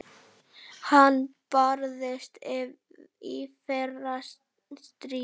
Hann barðist í fyrra stríði.